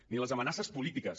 ni les amenaces polítiques